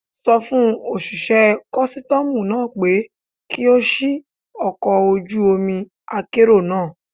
Sọ fún òṣìṣẹ́ kọ́sítọ́mù náà pé kí ó ṣì ọkọ̀ ojú omi akérò náà.